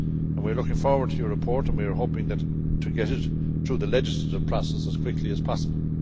We are looking forward to your report and we are hoping to get it through the legislative process as quickly as possible.